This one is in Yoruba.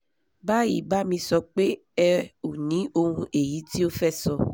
báyìí bá mi sọ pé ẹ o ní ohun èyí tí o fẹ̀ sọ